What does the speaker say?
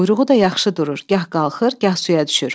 Quyruğu da yaxşı durur, gah qalxır, gah suya düşür.